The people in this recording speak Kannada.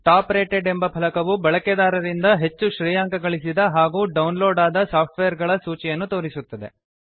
ಟಾಪ್ ರೇಟೆಡ್ ಎಂಬ ಫಲಕವು ಬಳಕೆದಾರರಿಂದ ಹೆಚ್ಚು ಶ್ರೇಯಾಂಕ ಗಳಿಸಿದ ಹಾಗೂ ಡೌನ್ಲೋಡ್ ಆದ ಸಾಫ್ಟ್ವೇರ್ ಗಳ ಸೂಚಿಯನ್ನು ತೋರಿಸುತ್ತದೆ